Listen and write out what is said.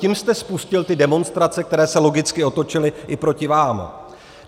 Tím jste spustil ty demonstrace, které se logicky otočily i proti vám.